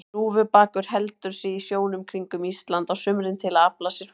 Hnúfubakur heldur sig í sjónum kringum Ísland á sumrin til að afla sér fæðu.